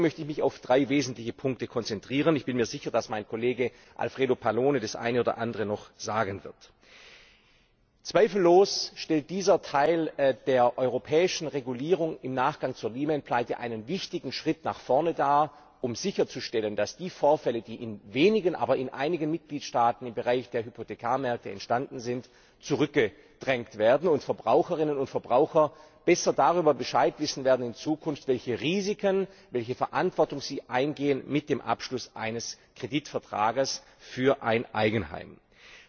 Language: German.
Deswegen möchte ich mich auf drei wesentliche Punkte konzentrieren. Ich bin mir sicher, dass mein Kollege Alfredo Pallone noch das eine oder andere sagen wird. Zweifellos stellt dieser Teil der europäischen Regulierung im Nachgang zur Lehman Pleite einen wichtigen Schritt nach vorne dar, um sicherzustellen, dass die Vorfälle, die sich in einigen wenigen Mitgliedstaaten im Bereich der Hypothekarmärkte ereignet haben, zurückgedrängt werden, und Verbraucherinnen und Verbraucher in Zukunft besser darüber Bescheid wissen werden, welche Risiken und welche Verantwortung sie mit dem Abschluss eines Kreditvertrags für ein Eigenheim eingehen.